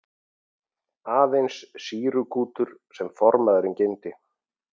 Aðeins sýrukútur sem formaðurinn geymdi.